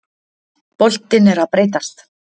Boltinn er að breytast.